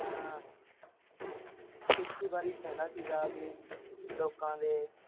ਹਾਂ ਖੇਤੀਬਾੜੀ ਨੂੰ ਕਹਿੰਦਾ ਹੀ ਲੋਕਾਂ ਦੇ।